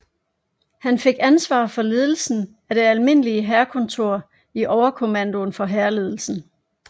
Han fik ansvar for ledelsen af det almindelige hærkontor i overkommandoen for hærledelsen